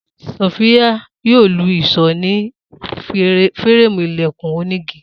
Sophia yoo lu ìṣó ni fireemu ilẹkun onigi.